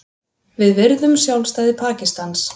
Við virðum sjálfstæði Pakistans